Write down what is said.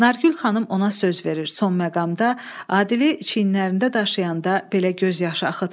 Nargül xanım ona söz verir, son məqamda Adili çiynlərində daşıyanda belə göz yaşı axıtmayıb.